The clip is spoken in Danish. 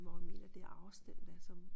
Hvor jeg mener det afstand der er som